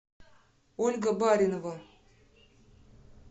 ольга баринова